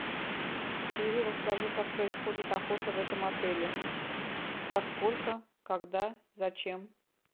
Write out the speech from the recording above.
сири расскажи как происходит охота в этом отеле во сколько когда зачем